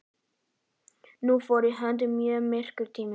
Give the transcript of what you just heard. Nú fór í hönd mjög myrkur tími.